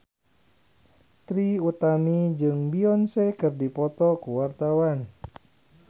Trie Utami jeung Beyonce keur dipoto ku wartawan